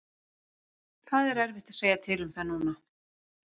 Það er erfitt að segja til um það núna.